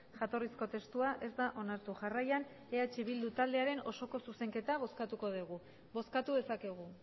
jatorrizko testua ez da onartu jarraian eh bildu taldearen osoko zuzenketa bozkatuko degu bozkatu dezakegu